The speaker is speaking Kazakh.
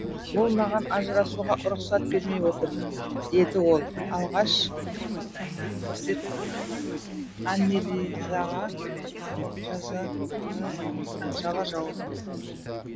ол маған ажырасуға рұқсат бермей отыр деді ол алғаш рет аннелизаға жала жауып